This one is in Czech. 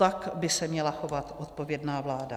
Tak by se měla chovat odpovědná vláda.